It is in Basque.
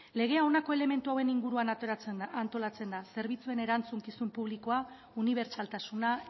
legea honako elementu hauen inguruan antolatzen da zerbitzuen erantzukizun publikoa unibertsaltasuna